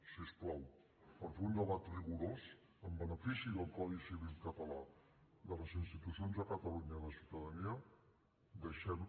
si us plau per fer un debat rigorós en benefici del codi civil català de les institucions de catalunya i de la ciutadania deixem